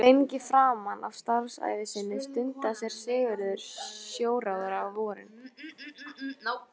Lengi framan af starfsævi sinni stundaði séra Sigurður sjóróðra á vorin.